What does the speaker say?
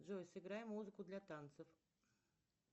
джой сыграй музыку для танцев